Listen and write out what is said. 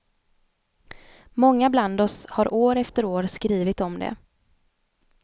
Många bland oss har år efter år skrivit om det.